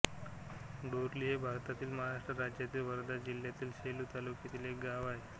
डोरली हे भारतातील महाराष्ट्र राज्यातील वर्धा जिल्ह्यातील सेलू तालुक्यातील एक गाव आहे